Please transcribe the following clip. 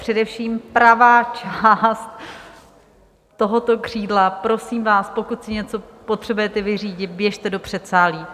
Především pravá část tohoto křídla - prosím vás, pokud si něco potřebujete vyřídit, běžte do předsálí.